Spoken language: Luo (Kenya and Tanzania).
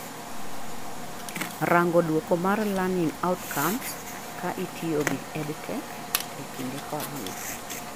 rango duoko mar learning outcomes kaa itiyo gi EdTech ekinde korona